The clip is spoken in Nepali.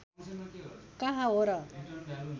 कहाँ हो र